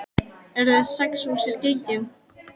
Eru þau strax úr sér gengin?